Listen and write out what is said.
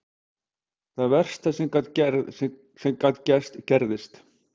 Það versta sem gat gerst gerðist.